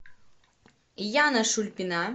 яна шульпина